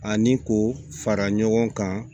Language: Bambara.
Ani k'o fara ɲɔgɔn kan